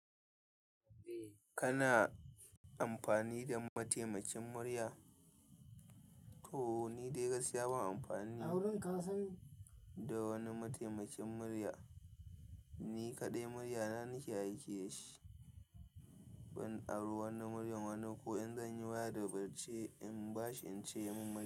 Kana amfani da mataimakin murya? To ni dai gaskiya ban amfani da wani mataimakin murya. Ni kaɗai muryana nake aiki da shi. Wai in ari wani muryar wani ko in zan yi waya da mace in bashi in ce ya mun murya.